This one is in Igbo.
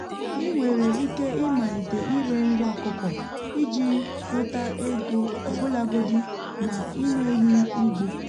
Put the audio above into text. ị nwere ike ịmalite ire nri ọkụkọ iji nweta ego ọbụlagodi na ị nweghị ugbo.